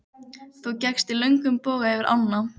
Þú gekkst í löngum boga yfir ána.